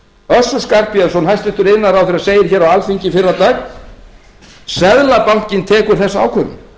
endemum össur skarphéðinsson hæstvirtur iðnaðarráðherra segir á alþingi í fyrradag seðlabankinn tekur þessa ákvörðun